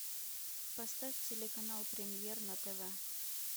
поставь телеканал премьер на тв